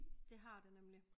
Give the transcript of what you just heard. Det har det nemlig